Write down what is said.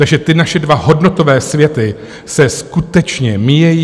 Takže ty naše dva hodnotové světy se skutečně míjejí.